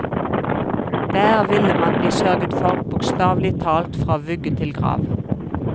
Der ville man bli sørget for, bokstavelig talt fra vugge til grav.